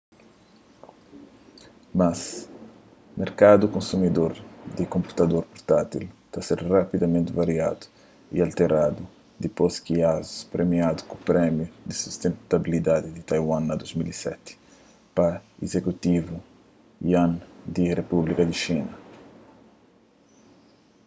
mas merkadu konsumidor di konputador purtátil ta ser radikamenti variadu y alteradu dipôs ki asus premiadu ku prémiu di sustentabilidadi di taiwan na 2007 pa izekutivu yuan di repúblika di xina